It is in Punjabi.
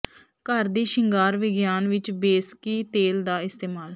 ਘਰ ਦੀ ਸ਼ਿੰਗਾਰ ਵਿਗਿਆਨ ਵਿੱਚ ਬੇਸਕੀ ਤੇਲ ਦਾ ਇਸਤੇਮਾਲ